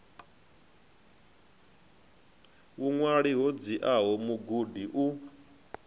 vhuṅwali ho dziaho mugudi u